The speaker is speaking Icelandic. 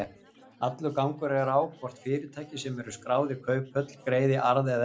Allur gangur er á hvort fyrirtæki sem eru skráð í kauphöll greiði arð eða ekki.